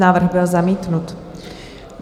Návrh byl zamítnut.